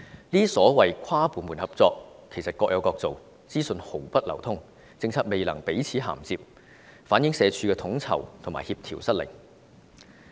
這些所謂跨部門合作，其實各有各做，資訊毫不互通，政策未能彼此銜接，反映社署的統籌和協調失靈。